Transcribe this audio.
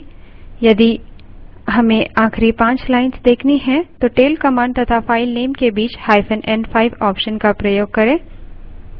यदि हमें आखिरी पाँच lines देखनी हैं तो tail command तथा file n5 के बीचn5 option का प्रयोग करें